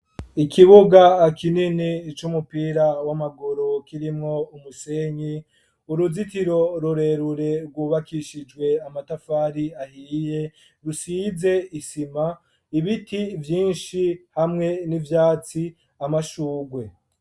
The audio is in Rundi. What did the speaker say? Ikibuga kininiya c'umupira w'amaguru kirimwo umusenyi, Uruzitiro rurerure rwubakishijwe amatafari ahiye rusize isima Ibiti vyishi hamwe n'ivyatsi amashurwe.